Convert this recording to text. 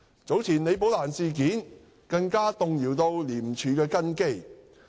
早前李寶蘭事件更動搖廉署的根基。